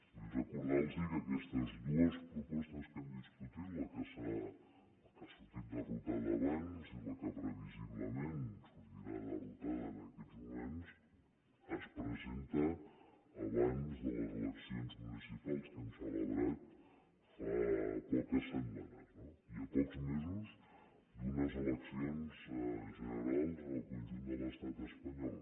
vull recordar los que aquestes dues propostes que hem discutit la que ha sortit derrotada abans i la que previsiblement sortirà derrotada en aquests moments es presenten abans de les eleccions municipals que hem celebrat fa poques setmanes no i a pocs mesos d’unes eleccions generals en el conjunt de l’estat espanyol